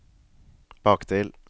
bakdel